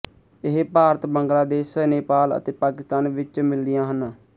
ਇਹ ਭਾਰਤ ਬੰਗਲਾਦੇਸ਼ ਨੇਪਾਲ ਅਤੇ ਪਾਕਿਸਤਾਨ ਵਿੱਚ ਮਿਲਦੀਆਂ ਹਨ